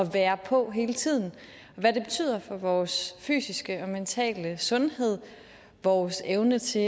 være på hele tiden hvad det betyder for vores fysiske og mentale sundhed vores evne til